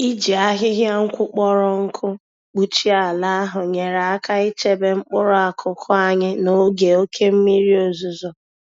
Iji ahịhịa-nkwụ kpọrọ nkụ kpuchie ala ahụ nyere aka ichebe mkpụrụ akụkụ anyị n'oge oké mmiri ozuzo.